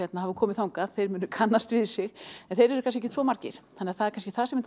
hafa komið þangað munu kannast við sig en þeir eru kannski ekkert svo margir þannig að það er kannski það sem er